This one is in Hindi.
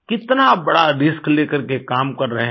कितना बड़ा रिस्क लेकर के काम कर रहे हैं